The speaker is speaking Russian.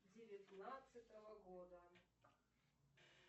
девятнадцатого года